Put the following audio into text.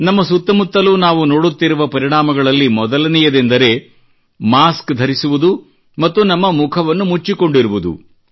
ನಮ್ಮ ಸುತ್ತಮುತ್ತಲೂ ನಾವು ನೋಡುತ್ತಿರುವ ಪರಿಣಾಮಗಳಲ್ಲಿ ಮೊದಲನೆಯದೆಂದರೆ ಮಾಸ್ಕ್ ಧರಿಸುವುದು ಮತ್ತು ನಮ್ಮ ಮುಖವನ್ನು ಮುಚ್ಚಿಕೊಂಡಿರುವುದು